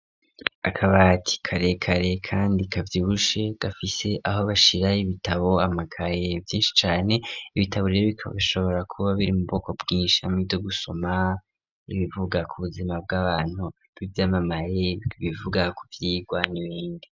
Akabati karekare kandi kavyibushe gafise aho bashira ibitabo, amakaye vyinshi cane, ibitabo rero bikaba bishobora kuba biri mu bwoko bwinshi harimwo ivyo gusoma, ibivuga ku buzima bw'abantu, ivyamamare, ibivuga ku vyigwa n'ibindi.